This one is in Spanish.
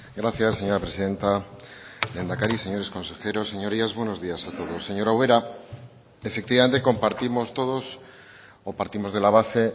gracias señora presidenta lehendakari señores consejeros señorías buenos días a todos señora ubera efectivamente compartimos todos o partimos de la base